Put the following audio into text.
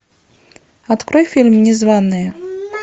открой фильм незваные